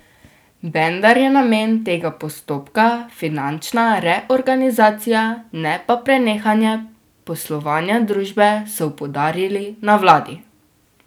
Vendar je namen tega postopka finančna reorganizacija, ne pa prenehanje poslovanja družbe, so poudarili na vladi.